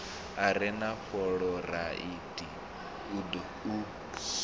a re na fuloraidi u